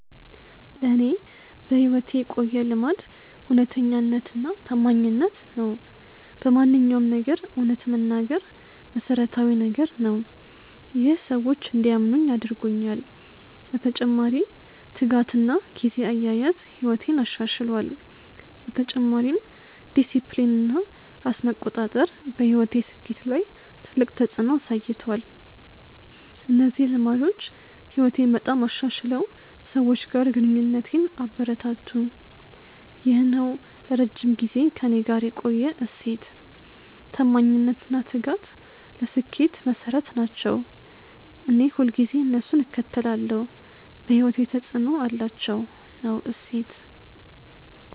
ለእኔ በሕይወቴ የቆየ ልማድ እውነተኛነትና ታማኝነት ነው። በማንኛውም ነገር እውነት መናገር መሠረታዊ ነገር ነው። ይህ ሰዎች እንዲያምኑኝ አድርጎኛል። በተጨማሪ ትጋትና ጊዜ አያያዝ ሕይወቴን አሻሽሏል። በተጨማሪም ዲሲፕሊን እና ራስ መቆጣጠር በሕይወቴ ስኬት ላይ ትልቅ ተፅዕኖ አሳይቷል። እነዚህ ልማዶች ሕይወቴን በጣም አሻሽለው ሰዎች ጋር ግንኙነቴን አበረታቱ። ይህ ነው ለረጅም ጊዜ ከእኔ ጋር የቆየ እሴት። ታማኝነት እና ትጋት ለስኬት መሠረት ናቸው። እኔ ሁልጊዜ እነሱን እከተላለሁ። በሕይወቴ ተፅዕኖ አላቸው።። ነው እሴት።